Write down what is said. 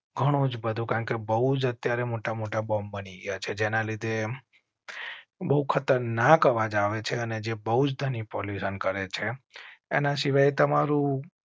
ઘણું જ બધું કારણ કે બહુ જ અત્યારે મોટા મોટા બોંબ બની યા છે જેના લીધે બહુ ખતરનાક અવાજ આવે છે અને જે બહુજ ની pollution કરેં છે એના સિવાય તમારું.